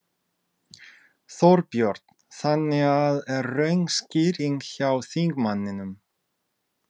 Þorbjörn: Þannig að er röng lögskýring hjá þingmanninum?